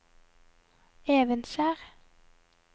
Evenskjer